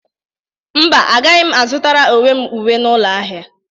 Mba, agaghị m azụtara uwe n'ụlọ ahịa.